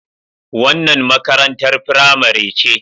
Wannan makarantar firamare ce.